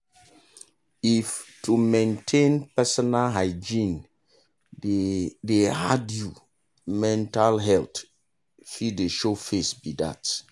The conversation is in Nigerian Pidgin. if to maintain personal hygiene dey dey hard you mental health dey show face be that.